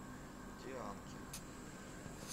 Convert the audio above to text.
дианки